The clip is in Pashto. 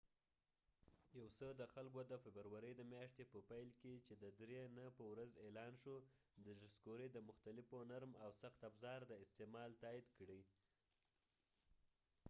یو څه خلکودفبروری د میاشتی په پیل کی چی د دری نی په ورځ اعلان شو د ډسکوری د مختلفو نرم او سخت افزار د استعمال تایید کړی